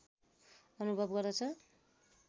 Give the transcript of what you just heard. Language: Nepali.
अनुभव गर्दछ